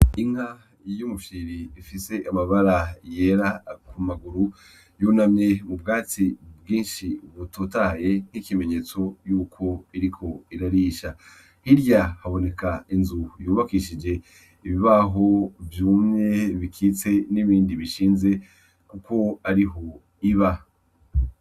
Inka yumufyiri ifise amabara yera kumaguru yunamye mu bwatsi bwinshi butotaye, nk'ikimenyetso yuko iriko irarisha, hirya haboneka inzu yubakishije ibibaho vyumye bikitse n'ibindi bishinze, kuko ariho iba.